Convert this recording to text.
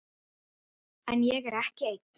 En ég er ekki einn.